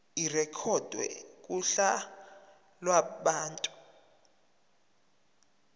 irekhodwe kuhla lwabantu